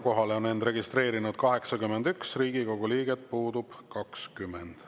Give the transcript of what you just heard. Kohalolijaks on end registreerinud 81 Riigikogu liiget, puudub 20.